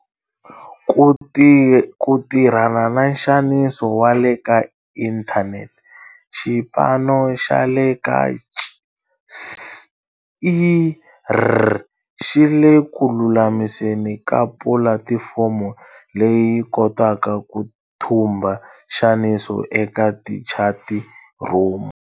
Ku tirhana na nxaniso wa le ka inthanete, xipano xa le ka CSIR xi le ku lulamiseni ka pulatifomo leyi yi kotaka ku thumba nxaniso eka tichati rhumu.